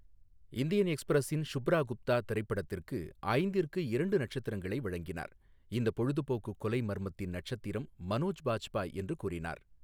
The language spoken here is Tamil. இந்தியன் எக்ஸ்பிரஸின் ஷுப்ரா குப்தா திரைப்படத்திற்கு ஐந்திற்கு இரண்டு நட்சத்திரங்களை வழங்கினார், இந்த பொழுதுபோக்கு கொலை மர்மத்தின் நட்சத்திரம் மனோஜ் பாஜ்பாய் என்று கூறினார்.